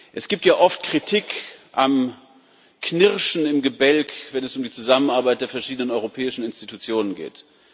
Es gibt ja oft Kritik am Knirschen im Gebälk, wenn es um die Zusammenarbeit der verschiedenen europäischen Institutionen geht.